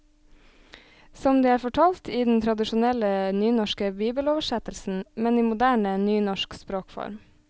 Som de er fortalt i den tradisjonelle nynorske bibeloversettelsen, men i moderne, nynorsk språkform.